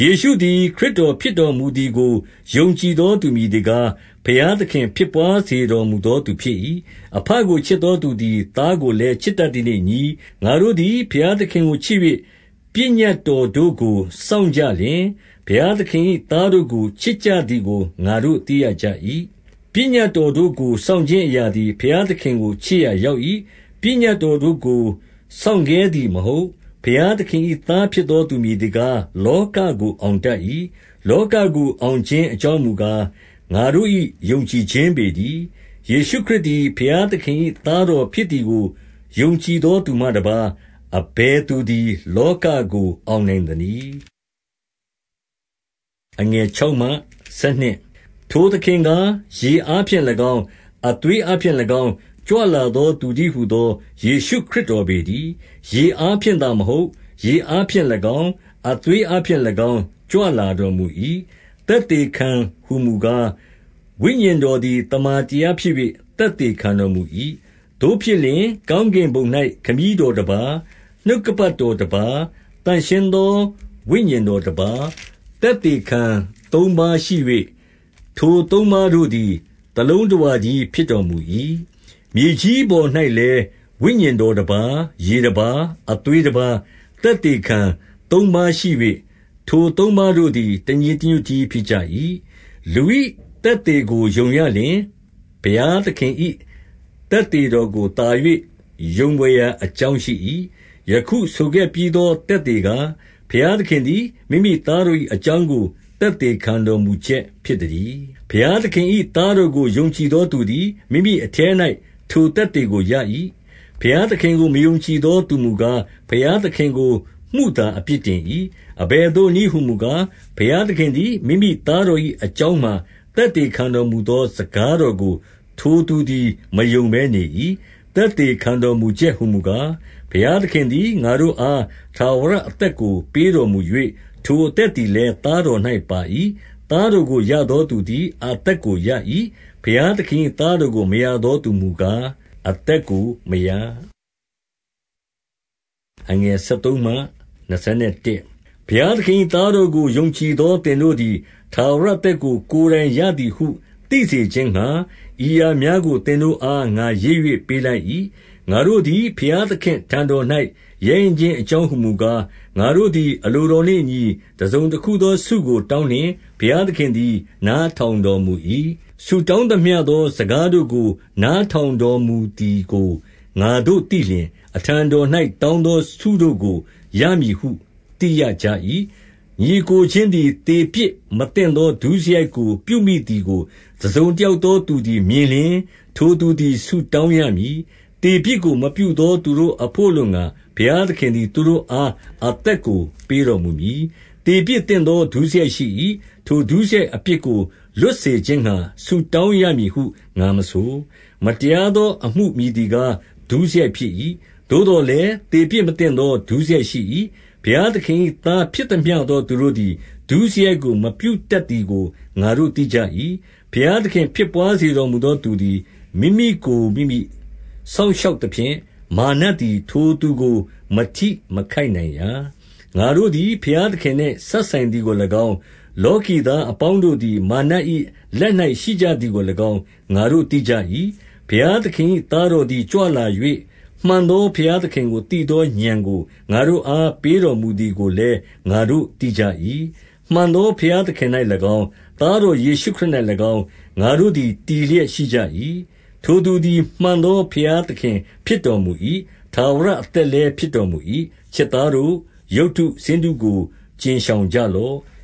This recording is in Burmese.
ယေရှုသည် ခရစ်တော်ဖြစ်တော်မူသည်ကို ယုံကြည်သောသူမည်သည်ကား၊ ဘုရားသခင်ဖြစ်ဘွား စေတော်မူသောသူဖြစ်၏။ အဘကိုချစ်သောသူသည် သားကိုလည်းချစ်တတ်သည်နှင့်အညီ၊ 2 ငါတို့သည် ဘုရားသခင်ကိုချစ်၍၊ ပညတ်တော်တို့ကို စောင့်ကြည့်လျှင်၊ ဘုရားသခင်၏သားတို့ကို ချစ်ကြသည်ကို ငါတို့သိရကြ၏။ 3 ပညတ်တော်တို့ကို စောင့်ခြင်းအရာသည် ဘုရားသခင်ကိုချစ်ရာရောက်၏။ ပညတ်တော်တို့ကို စောင့်ခဲ သည်မဟုတ်။ 4 ဘုရားသခင်၏သားဖြစ်သောသူ မည်သည်ကား၊ လောကကို အောင်တတ်၏။ လောကကို အောင်ခြင်း အကြောင်းမူကား၊ ငါတို့၏ ယုံကြည်ခြင်းပေတည်း။ 5 ယေရှုသည် ဘုရားသခင်၏ သားတော်ဖြစ်သည်ကို ယုံကြည်သောသူမှတပါး၊ အဘယ်သူသည် လောကကို အောင်နိုင်သနည်း။ 6 ထိုသခင်ကား၊ ရေအားဖြင့်၎င်း၊ အသွေးအားဖြင့်၎င်း ကြွလာသောသူတည်းဟူသော ယေရှုခရစ် ပေတည်း။ ရေအားဖြင့်သာမဟုတ်၊ ရေအားဖြင့်၎င်း၊ အသွေးအားဖြင့်၎င်း ကြွလာတော်မူ၏။ သက်သေခံ ဟူမူကား၊ ဝိညာဉ်တော်သည် သမ္မာတရားဖြစ်၍ သက်သေခံတော်မူ၏။ 7 သို့ဖြစ်လျှင်၊ ကောင်းကင်ဘုံ၌ ခမည်းတော်တပါး နှုတ်ကပတ်တော်တပါး၊ သန့်ရှင်းသော ဝိညာဉ်တော်တပါး၊ သက်သေခံသုံးပါးရှိ၍ ထိုသုံးပါတို့သည် တလုံးတဝတည်း ဖြစ်တော်မူ၏။ 8 မြေကြီးပေါ်၌လည်း ဝိညာဉ်တော်တပါး၊ ရေတပါး၊ အသွေးတပါး၊ သက်သေခံသုံးပါးရှိ၍ ထိုသုံးပါး တို့သည် တညီတညွတ်တည်းဖြစ်၏။ 9 လူ၏သက်သေကိုယုံရလျှင်၊ ဘုရားသခင်၏ သက်သေတော်ကိုသာ၍ ယုံဘွယ်ရာအကြောင်းရှိ၏။ ယခုဆိုခဲ့ပြီးသော သက်သေကား၊ ဘုရားသခင်သည် မိမိသားတော်၏အကြောင်းကို သက်သေခံတော်မူချက် ဖြစ်သတည်း။ 10 ဘုရားသခင်၏သားတော်ကို ယုံကြည်သောသူသည်၊ မိမိအထဲ၌ ထိုသက်သေကိုရ၏။ ဘုရားသခင်ကို မယုံကြည်သောသူမူကား၊ ဘုရားသခင်ကို မုသာအပြစ်တင်၏။ အဘယ်သို့နည်းဟူမူကား၊ ဘုရားသခင်သည် မိမိသားတော်၏အကြောင်းမှာ သက်သေခံတော်မူသောစကားတော်ကို ထိုသူသည် မယုံဘဲနေ၏။ 11 သက်သေခံတော်မူချက်ဟူမူကား၊ ဘုရားသခင်သည် ငါတို့အား ထာဝရအသက်ကိုပေးတော်မူ၍၊ ထိုအသက်သည်လည်း သားတော်၌ပါ၏။ 12 သားတော်ကိုရသောသူသည် အသက်ကိုရ၏။ ဘုရားသခင်၏သားတော်ကို မရသောသူမူကား အသက်ကိုမရ။ 13 ဘုရားသခင်၏သားတော်ကို ယုံကြည်သောသင်တို့သည် ထာဝရအသက်ကိုကိုယ်တိုင်ရသည်ဟု သိစေခြင်းငှါ၊ ဤအရာများကို သင်တို့အား ငါရေး၍ပေးလိုက်၏။ 14 ငါတို့သည် ဘုရားသခင့်အထံတော်၌ ရဲရင့်ခြင်း အကြောင်းဟူမူကား၊ ငါတို့သည်အလိုတော်နှင့်အညီ တစုံတခုသောဆုကို တောင်းလျှင်၊ ဘုရားသခင်သည် နားထောင်တော်မူ၏။ 15 ဆုတောင်းသမျှသောစကားတို့ကို နားထောင်တော်မူသည်ကို ငါတို့သိလျှင်၊ အထံတော်၌ တောင်းသောဆုတို့ကို ရမည်ဟုသိရကြ၏။ 16 ညီအစ်ကိုချင်းသည် သေပြစ်မသင့်သောဒုစရိုက်ကို ပြုမိသည်ကို တစုံတယောက်သောသူသည် မြင်လျှင်၊ ထိုသူသည် ဆုတောင်းရမည်။ သေပြစ်ကို မပြုသောသူတို့အဘို့အလိုငှါ၊ ဘုရားသခင်သည် ထိုသူအား အသက်ကိုပေးတော်မူမည်။ သေပြစ်သင့်သောဒုစရိုက်ရှိ၏။ ထိုဒုစရိုက်အပြစ်ကို လွှတ်စေခြင်းငှါ ဆုတောင်း ရမည်ဟုငါမဆို။ 17 မတရားသောအမှုမည်သည်ကား ဒုစရိုက်ဖြစ်၏။ သို့သော်လည်း သေပြစ်မသင့်သောဒုစရိုက်ရှိ၏။ 18 ဘုရားသခင်၏သားဖြစ်သမျှသောသူတို့သည် ဒုစရိုက်ကိုမပြုတတ်သည်ကို ငါတို့သိကြ၏။ ဘုရားသခင် ဖြစ်ဘွားစေတော်မူသောသူသည်၊ မိမိကိုမိမိ စောင့်ရှောက်သဖြင့်၊ မာရ်နတ်သည်ထိုသူကို မထိမခိုက်နိုင်ရာ။ 19 ငါတို့သည် ဘုရားသခင်နှင့်စပ်ဆိုင်သည်ကို၎င်း၊ လောကီသားအပေါင်းတို့သည် မာရ်နတ်၏လက်၌ ရှိကြသည်ကို၎င်း ငါတို့သိကြ၏။ 20 ဘုရားသခင်၏သားတော်သည်ကြွလာ၍၊ မှန်သောဘုရားသခင်ကို သိသောဥာဏ်ကို ငါတို့အား ပေးတော်မူသည်ကိုလည်း ငါတို့သိကြ၏။ မှန်သောဘုရားသခင်၌၎င်း၊ သားတော်ယေရှုခရစ်၌၎င်းငါတို့သည် တည်လျက်ရှိကြ၏။ ထိုသူသည်မှန်သော ဘုရားသခင်ဖြစ်တော်မူ၏။ ထာဝရအသက်လည်း ဖြစ်တော်မူ၏။ 21 ချစ်သားတို့၊ ရုပ်တုဆင်းတုကို ကြဉ်ရှောင်ကြလော့။